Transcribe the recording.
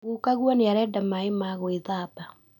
Gukaguo nĩarenda maĩ ma gwĩthamba